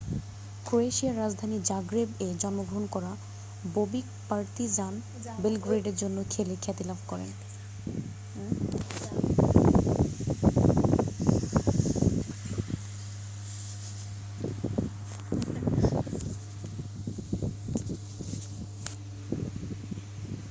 ক্রোয়েশিয়ার রাজধানী জাগ্রেব-এ জন্মগ্রহণ করা বোবিক পার্তিজান বেলগ্রেডের জন্য খেলে খ্যাতিলাভ করেন